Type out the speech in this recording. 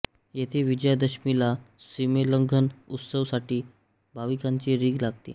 येथे विजयादशमीला सीमोल्लंघन उत्सव साठी भाविकांची रीघ लागते